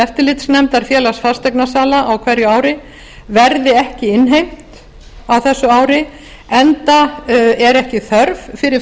eftirlitsnefndar félags fasteignasala á hverju ári verði ekki innheimt á þessu ári enda er ekki þörf fyrir